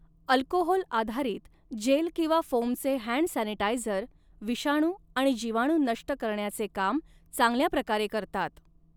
Alcohol आधारित gel किंवा फोमचे हँड सॅनिटायजर, विषाणू आणि जिवाणू नष्ट करण्याचे काम चांगल्याप्रकारे करतात.